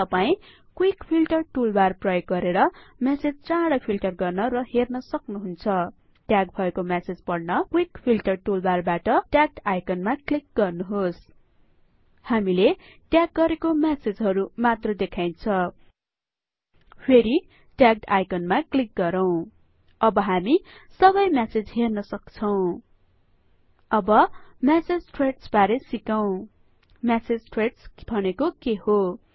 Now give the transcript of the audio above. तपाईं quick filter toolbar प्रयोग गरेर मेसेज चाडै फिल्टर गर्न र हेर्न सक्नुहुन्छ ट्याग भएको मेसेज पढ्न कवीक फिल्टर टुलबारबाट ट्यागड आइकनमा क्लिक गर्नुहोस् हामीले ट्याग गरेको मेसेजहरु मात्र देखाइन्छ फेरि ट्यागड आइकनमा क्लिक गरौँ अब हामी सबै मेसेज हेर्न सक्छौं अब मेसेज थ्रेड्सबारे सिकौं मेसेज थ्रेड्स भनेको के हो160